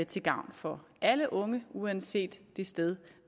til gavn for alle unge uanset det sted